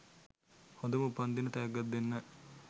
හොඳම උපන්දින තෑග්ගක් දෙන්න